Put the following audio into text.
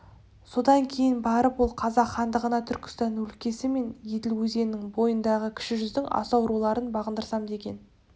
содан кейін барып ол қазақ хандығына түркістан өлкесі мен еділ өзенінің бойындағы кіші жүздің асау руларын бағындырсам деген